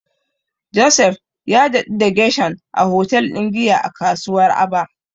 Joseph ya daɗu da Gershom a hotel din giya a kasuwar Aba.